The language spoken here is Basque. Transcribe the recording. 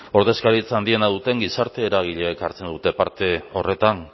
ordezkaritza handiena duten gizarte eragileek hartzen dute parte horretan